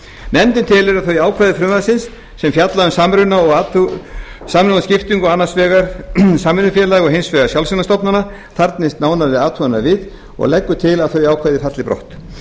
nefndin telur að þau ákvæði frumvarpsins sem fjalla um samruna og skiptingu annars vegar samvinnufélaga og hins vegar sjálfseignarstofnana þarfnist nánari athugunar við og leggur til að þau ákvæði falli brott